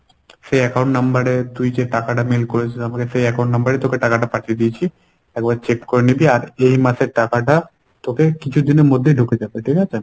সে account number এ তুই যে টাকাটা mail করেছিলি আমাকে সেই account number এ তোকে টাকাটা পাঠিয়ে দিয়েছি। একবার check করে নিবি আর এই মাসের টাকাটা তোকে কিছুদিনের মধ্যে ঢুকে যাবে ঠিকাছে?